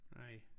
Nej